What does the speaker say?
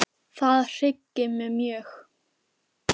Það hryggir mig mjög.